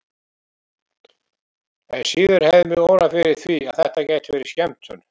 Enn síður hefði mig órað fyrir því að þetta gæti verið skemmtun.